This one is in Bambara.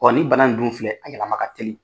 nin bana in dun filɛ a yɛlɛma ka teli.